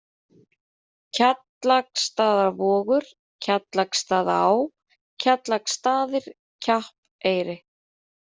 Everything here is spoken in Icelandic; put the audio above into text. Kjallaksstaðavogur, Kjallaksstaðaá, Kjallaksstaðir, Kjappeyri